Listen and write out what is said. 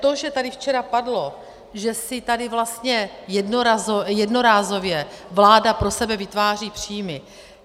To, že tady včera padlo, že si tady vlastně jednorázově vláda pro sebe vytváří příjmy.